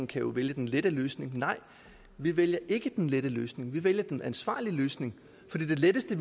kan vælge den lette løsning nej vi vælger ikke den lette løsning vi vælger den ansvarlige løsning for det letteste i